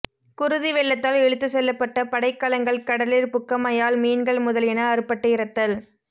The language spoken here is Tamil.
குருதி வெள்ளத்தால் இழுத்துச் செல்லப்பட்ட படைக்கலங்கள் கடலிற் புக்கமையால் மீன்கள் முதலியன அறுபட்டு இறத்தல்